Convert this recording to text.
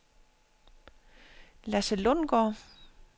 Lasse Lundgaard